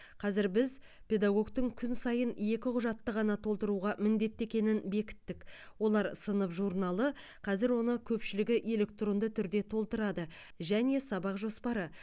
қазір біз педагогтың күн сайын екі құжатты ғана толтыруға міндетті екенін бекіттік олар сынып журналы қазір оны көпшілігі электронды түрде толтырады және сабақ жоспары